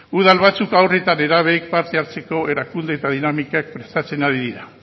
udal batzuk haur eta nerabeek parte hartzeko erakunde eta dinamikak prestatzen ari dira